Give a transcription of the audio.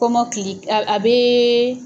Komɔkili a bɛ.